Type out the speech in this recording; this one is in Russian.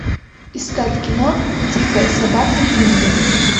искать кино дикая собака динго